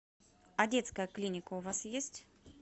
а детская клиника у вас есть